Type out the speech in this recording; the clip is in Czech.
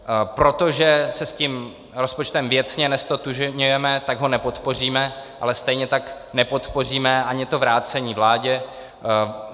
Protože se s tím rozpočtem věcně neztotožňujeme, tak ho nepodpoříme, ale stejně tak nepodpoříme ani to vrácení vládě.